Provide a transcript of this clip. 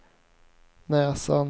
näsan